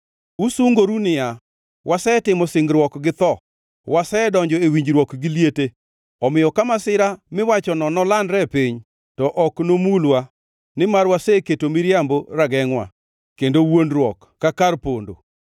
Usungoru niya, “Wasetimo singruok gi tho wasedonjo e winjruok gi liete omiyo, ka masira miwachono nolandre e piny to ok nomulwa, nimar waseketo miriambo ragengʼ-wa, kendo wuondruok ka kar pondo.”